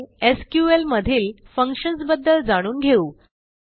पुढे एसक्यूएल मधील फंक्शन्स बद्दल जाणून घेऊ